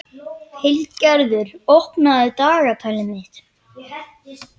Hildigerður, opnaðu dagatalið mitt.